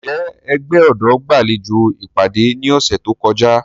Njẹ ẹgbẹ ọdọ gbalejo ipade ni ọsẹ to kọja?